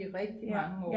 i rigtigt mange år